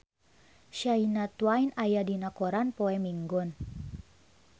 Shania Twain aya dina koran poe Minggon